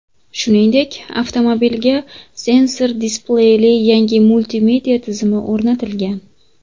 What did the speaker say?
Shuningdek, avtomobilga sensor displeyli yangi multimedia tizimi o‘rnatilgan.